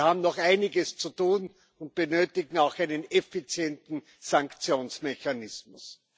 Wir haben noch einiges zu tun und benötigen auch einen effizienten Sanktionsmechanismus.